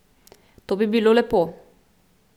To bi bilo lepo.